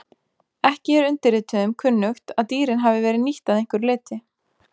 Ekki er undirrituðum kunnugt að dýrin hafi verið nýtt að einhverju leyti.